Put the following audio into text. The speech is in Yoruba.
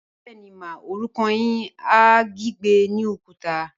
Bẹẹni ma, orukọ rẹ ni a gbígbẹ ni okuta.